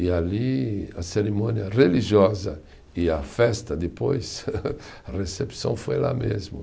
E ali a cerimônia religiosa e a festa depois, a recepção foi lá mesmo.